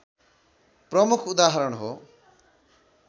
प्रमुख उदाहरण हो